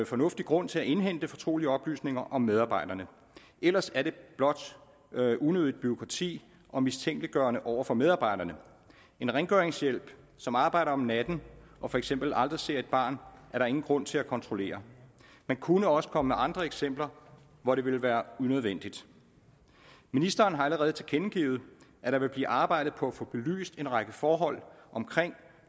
fornuftig grund til at indhente fortrolige oplysninger om medarbejderne ellers er det blot unødigt bureaukrati og mistænkeliggørende over for medarbejderne en rengøringshjælp som arbejder om natten og for eksempel aldrig ser et barn er der ingen grund til at kontrollere man kunne også komme med andre eksempler hvor det ville være unødvendigt ministeren har allerede tilkendegivet at der vil blive arbejdet på at få belyst en række forhold omkring